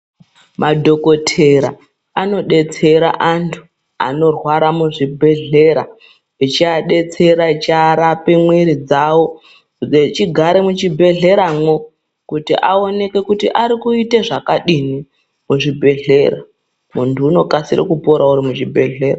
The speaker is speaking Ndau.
Madhokotera anodetsera antu anorwara muzvibhedhlera, echiadetsera eicharape mwiri dzawo , echigare muchibhedhleramwo kuti aoneke kuti ari kuite zvakadini muchibhedhlera . Muntu unokasire kupora uri muzvibhedhlera.